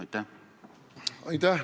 Aitäh!